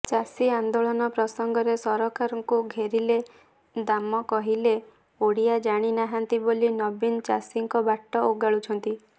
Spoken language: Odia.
ଚାଷୀ ଆନ୍ଦୋଳନ ପ୍ରସଙ୍ଗରେ ସରକାରଙ୍କୁ ଘେରିଲେ ଦାମ କହିଲେ ଓଡ଼ିଆ ଜାଣି ନାହାନ୍ତି ବୋଲି ନବୀନ ଚାଷୀଙ୍କ ବାଟ ଓଗାଳୁଛନ୍ତି